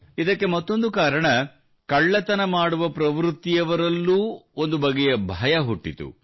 ಇದಕ್ಕೆ ಮತ್ತೊಂದು ಕಾರಣ ಕಳ್ಳತನ ಮಾಡುವ ಪ್ರವೃತ್ತಿಯವರಲ್ಲೂ ಒಂದು ಬಗೆಯ ಭಯ ಹುಟ್ಟಿತು